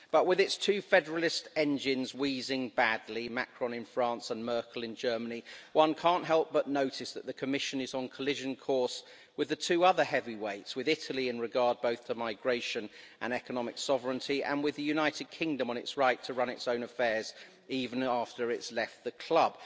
But with its two federalist engines wheezing badly Macron in France and Merkel in Germany one can't help but notice that the Commission is on collision course with the two other heavyweights, with Italy in regard both to migration and economic sovereignty, and with the United Kingdom on its right to run its own affairs even after it's left the club.